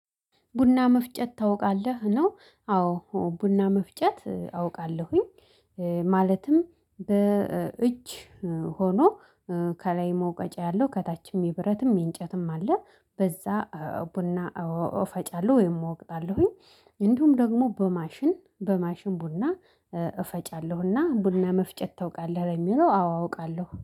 ቡና መፍጨት ታውቃለህ ነው አዎ ቡና መፍጨት አውቃለሁኝ ማለትም እጅ ሆኖ ከላይ መውቀጫ ያለው ከታችም የብረትም የእንጨትም አለ በዛ ቡና እፈጫለሁ ወይም እወቅታለሁኝ እንዲሁም ደግሞ በማሽን በማሽን ቡና እፈጫለሁና ቡና መፍጨት ታውቃለህ ለሚለው አዎ አውቃለሁ